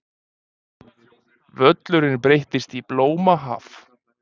Völlurinn breyttist í blómahaf.